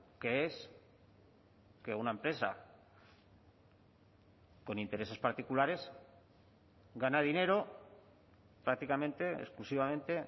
que es que una empresa con intereses particulares gana dinero prácticamente exclusivamente